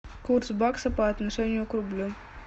курс бакса по отношению к рублю